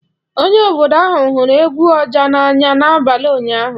Onye obodo ahụ hụrụ egwu oja n'anya n'abalị ụnyaahụ.